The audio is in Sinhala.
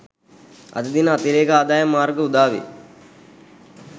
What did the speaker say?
අද දින අතිරේක ආදායම් මාර්ග උදාවේ